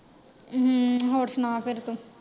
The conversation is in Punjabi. ਹਮ, ਹੋਰ ਸੁਣਾ ਫੇਰ ਤੂੰ।